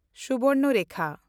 Subarnarekha